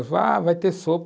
Vá, vai ter sopa.